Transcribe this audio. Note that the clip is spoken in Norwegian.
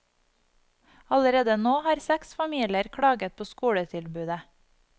Allerede nå har seks familier klaget på skoletilbudet.